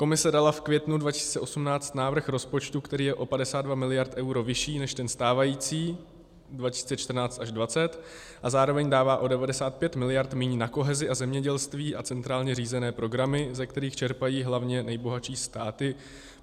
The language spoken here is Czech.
Komise dala v květnu 2018 návrh rozpočtu, který je o 52 miliard euro vyšší než ten stávající 2014 až 2020, a zároveň dává o 95 miliard míň na kohezi a zemědělství a centrálně řízené programy, ze kterých čerpají hlavně nejbohatší státy.